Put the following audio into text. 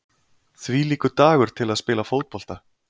Þvílíkur dagur til að spila fótbolta!